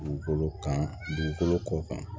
Dugukolo kan dugukolo kɔ